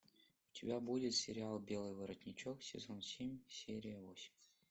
у тебя будет сериал белый воротничок сезон семь серия восемь